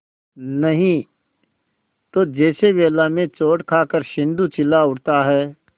नहीं तो जैसे वेला में चोट खाकर सिंधु चिल्ला उठता है